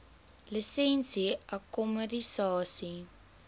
lisensie akkommodasie